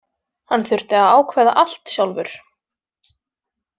Hann þurfti að ákveða allt sjálfur.